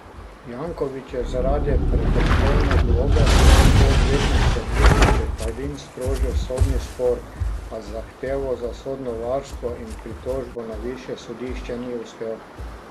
Janković je zaradi prekrškovne globe s pomočjo odvetniške družbe Čeferin sprožil sodni spor, a z zahtevo za sodno varstvo in pritožbo na višje sodišče ni uspel.